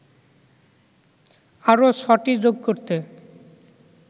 আরও ছ’টি যোগ করতে